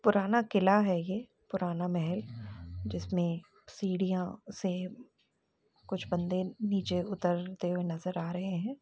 पुराना कीला है ये पुराना महल जिसमें सीढियाँ से कुछ बंदे नीचे उतर ते हुए नजर आ रहे हैं।